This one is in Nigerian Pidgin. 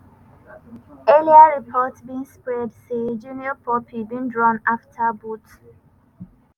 earlier report bin spread say junior pope bin drown afta boat